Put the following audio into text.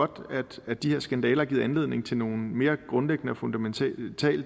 godt at de her skandaler har givet anledning til nogle mere grundlæggende og fundamentale